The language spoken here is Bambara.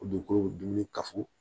O dugukolo dumuni kafo